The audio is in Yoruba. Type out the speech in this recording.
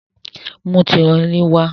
Mú turọlí wá!